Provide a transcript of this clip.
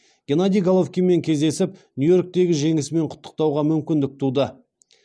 геннадий головкинмен кездесіп нью йорктегі жеңісімен құттықтауға мүмкіндік туды